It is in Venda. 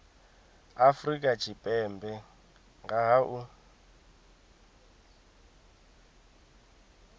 afrika tshipembe nga ha u